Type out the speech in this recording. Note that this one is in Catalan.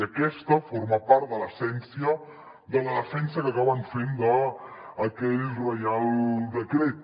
i aquesta forma part de l’essència de la defensa que acaben fent d’aquell reial decret